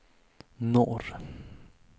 norr